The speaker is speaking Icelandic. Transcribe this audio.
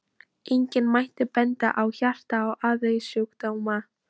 Einnig mætti benda á hjarta- og æðasjúkdóma.